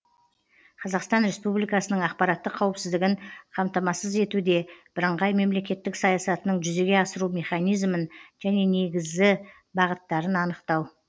қазақстан республикасының ақпараттық қауіпсіздігін қамтамасыз етуде біріңғай мемлекеттік саясатының жүзеге асыру механизімін және негізі бағыттарын анықтау